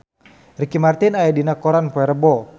Ricky Martin aya dina koran poe Rebo